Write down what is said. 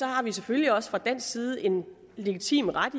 har vi selvfølgelig også fra dansk side en legitim ret